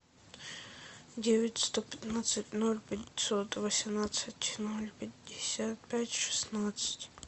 девять сто пятнадцать ноль пятьсот восемнадцать ноль пятьдесят пять шестнадцать